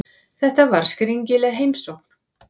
Þetta var skringileg heimsókn.